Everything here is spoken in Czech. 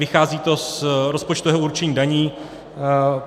Vychází to z rozpočtového určení daní.